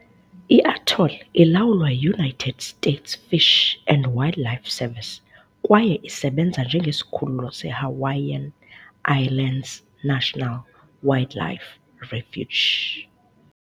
I-atoll ilawulwa yi-United States Fish and Wildlife Service kwaye isebenza njengesikhululo se -Hawaiian Islands National Wildlife Refuge .